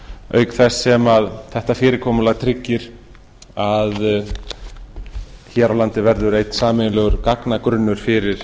auk þess sem þetta fyrirkomulag tryggir að hér á landi verður einn sameiginlegur gagnagrunnur fyrir